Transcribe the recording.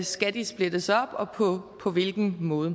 skal de splittes op og på på hvilken måde